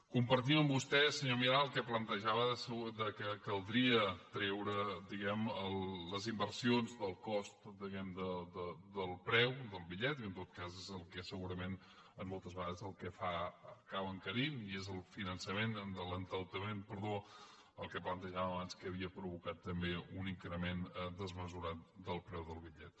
compartim amb vostè senyor milà el que plantejava que caldria treure diguem ne les inversions del cost del preu del bitllet i en tot cas és el que segurament moltes vegades l’acaba encarint i és l’endeutament el que plantejàvem abans el que havia provocat també un increment desmesurat del preu del bitllet